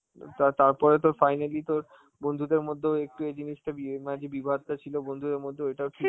তার~ তারপরে তো finally তোর বন্ধুদের মধ্যেও একটু এই জিনিসটা বিয়ে~ মানে যেই বিবাদটা ছিল বন্ধুদের মধ্যে ওইটাও ঠিক